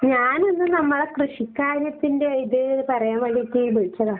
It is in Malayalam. ഞാനൊന്ന് നമ്മളെ കൃഷിക്കാര്യത്തിന്റെ ഇത് പറയാൻ വേണ്ടീട്ട് വിളിച്ചതാ.